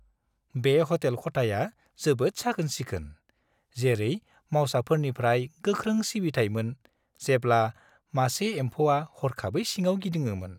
बे ह'टेल खथाया जोबोद साखोन-सिखोन, जेरै मावसाफोरनिफ्राय गोख्रै सिबिथाइमोन, जेब्ला मासे एम्फौआ हरखाबै सिङाव गिदिङोमोन।